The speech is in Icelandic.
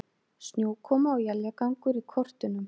Snjókoma og éljagangur í kortunum